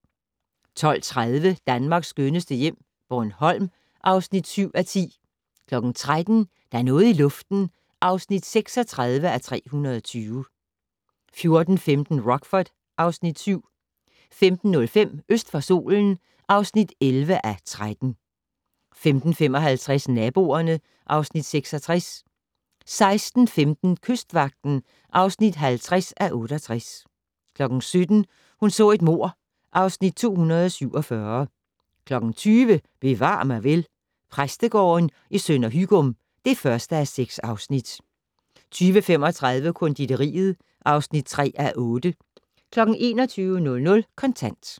12:30: Danmarks skønneste hjem - Bornholm (7:10) 13:00: Der er noget i luften (36:320) 14:15: Rockford (Afs. 7) 15:05: Øst for solen (11:13) 15:55: Naboerne (Afs. 66) 16:15: Kystvagten (50:68) 17:00: Hun så et mord (Afs. 247) 20:00: Bevar mig vel: Præstegården i Sønder Hygum (1:6) 20:35: Konditoriet (3:8) 21:00: Kontant